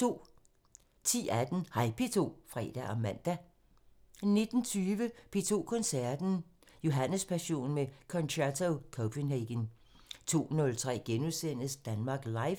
10:18: Hej P2 (fre og man) 19:20: P2 Koncerten – Johannespassionen med Concerto Copenhagen 02:03: Danmark Live *